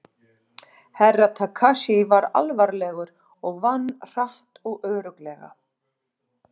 Herra Takashi var alvarlegur og vann hratt og örugglega.